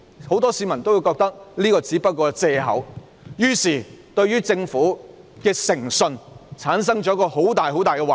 很多市民也認為這只是一個借口，因而對政府的誠信產生很大的懷疑。